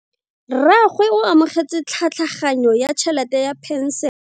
Rragwe o amogetse tlhatlhaganyo ya tšhelete ya phenšene.